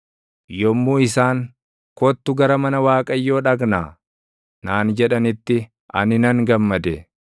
Yommuu isaan, “Kottu gara mana Waaqayyoo dhaqnaa” naan jedhanitti, ani nan gammade.